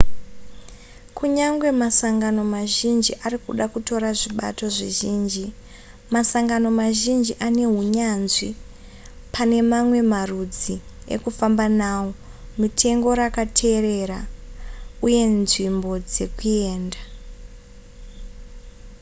kunyangwe masangano mazhinji arikuda kutora zvibato zvizhinji masangano mazhinji anehunyanzvi pane mamwe marudzi ekufamba nawo mitengo rakaterera uye nzvimbo dzekuenda